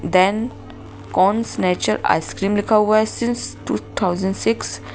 then cones nature ice cream लिखा हुआ है सिंस टू थाउजेंड सिक्स --